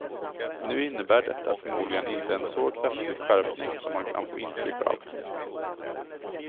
Nu innebär detta förmodligen inte en så kraftig skärpning som man kan få intryck av.